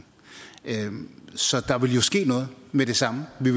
så der vil jo ske noget med det samme ved